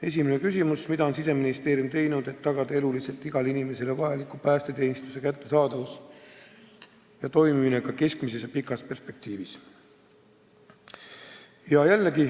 Esimene küsimus: "Mida on Siseministeerium teinud, et tagada eluliselt igale inimesele vajaliku päästeteenuse kättesaadavus ja toimimine ka keskmises ja pikas perspektiivis?